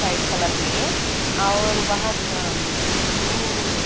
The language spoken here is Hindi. वाइट कलर में और वहां ब्लू --